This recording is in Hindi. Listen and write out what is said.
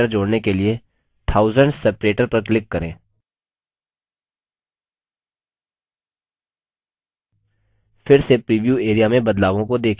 प्रत्येक हज़ार के बाद comma separator जोड़ने के लिए thousands separator पर click करें फिर से प्रीव्यू area में बदलावों को देखें